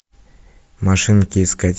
машинки искать